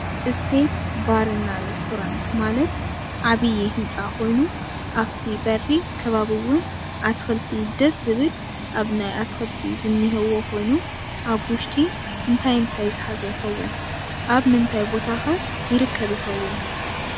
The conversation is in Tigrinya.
እሴት ባርና ሬስቶራንት ማለት ዓብይ ህንፃ ኮይኑ ኣፍቲ በሪ ከባብ እውን ኣትክልቲ ደስ ዝብል ኣብ ናይ ኣትክልቲ ዝኒህዎ ኮይኑ ኣብ ውሽጢ እንታይ እንታይ ዝሓዘ ይከውን ኣብ ምንታይ ቦታ ከ ይርከብ ይከውን?